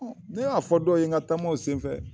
Ne y'a fɔ dɔw ye n ka taamaw senfɛ